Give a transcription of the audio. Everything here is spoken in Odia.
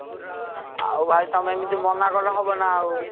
ଆଉ ଭାଇ ତମେ ଏମିତ ମନା କଲେ ହବ ନା ଆଉ।